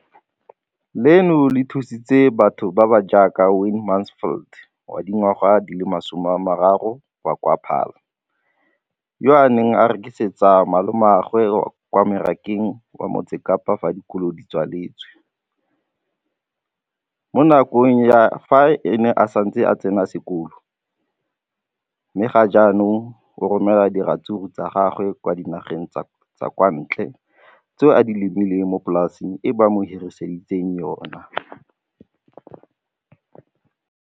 Leno le thusitse batho ba ba jaaka Wayne Mansfield, 33, wa kwa Paarl, yo a neng a rekisetsa malomagwe kwa Marakeng wa Motsekapa fa dikolo di tswaletse, mo nakong ya fa a ne a santse a tsena sekolo, mme ga jaanong o romela diratsuru tsa gagwe kwa dinageng tsa kwa ntle tseo a di lemileng mo polaseng eo ba mo hiriseditseng yona.